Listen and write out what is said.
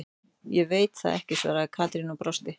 Ég veit það ekki svaraði Katrín og brosti.